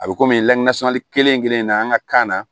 A bɛ komi lakanasɔli kelen-kelen in na an ka kan na